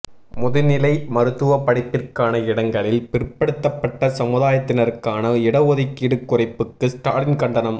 முதுநிலை மருத்துவப் படிப்பிற்கான இடங்களில் பிற்படுத்தப்பட்ட சமுதாயத்தினருக்கான இடஒதுக்கீடு குறைப்புக்கு ஸ்டாலின் கண்டனம்